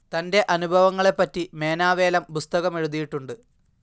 തൻ്റെ അനുഭവങ്ങളെപ്പറ്റി മേനാവേലം പുസ്തകമെഴുതിയിട്ടുണ്ട്.